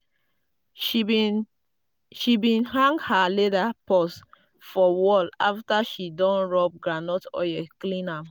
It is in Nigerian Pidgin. she bin she bin hang her leather purse for wall after she don rub groundnut oil clean am.